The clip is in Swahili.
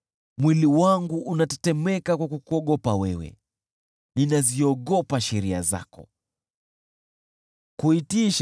Mwili wangu unatetemeka kwa kukuogopa wewe, ninaziogopa sheria zako.